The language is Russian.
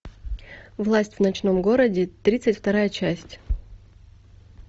власть в ночном городе тридцать вторая часть